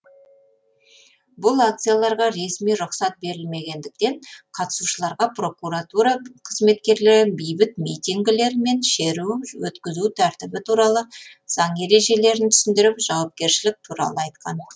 бұл акцияларға ресми рұқсат берілмегендіктен қатысушыларға прокуратура қызметкерлері бейбіт митингілер мен шеру өткізу тәртібі туралы заң ережелерін түсіндіріп жауапкершілік туралы айтқан